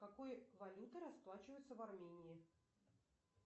какой валютой расплачиваются в армении